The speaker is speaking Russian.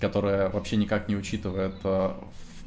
которая вообще никак не учитывает в